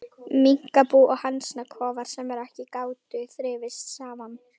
Minkabú og hænsnakofar, sem ekki gátu þrifist saman.